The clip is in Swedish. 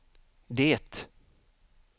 det